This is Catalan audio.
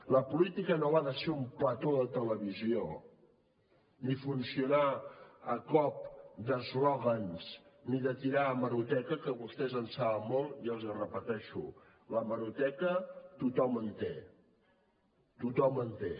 la política no va de ser un plató de televisió ni funcionar a cop d’eslògans ni de tirar d’hemeroteca que vostès en saben molt i els hi repeteixo d’hemeroteca tothom en té tothom en té